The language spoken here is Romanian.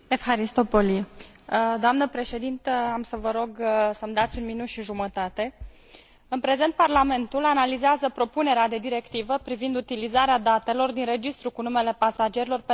În prezent, Parlamentul analizează propunerea de directivă privind utilizarea datelor din registrul cu numele pasagerilor pentru prevenirea, depistarea, cercetarea și urmărirea penală a infracțiunilor de terorism și a infracțiunilor grave.